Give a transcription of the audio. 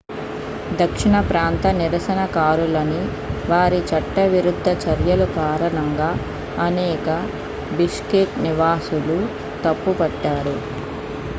దక్షిణ ప్రాంత నిరసనకారులని వారి చట్టవిరుద్ధ చర్యలు కారణంగా అనేక బిష్కెక్ నివాసులు తప్పుపట్టారు